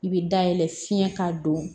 I bɛ dayɛlɛ fiɲɛ ka don